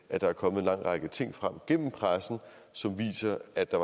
at der er kommet en lang række ting frem gennem pressen som viser at der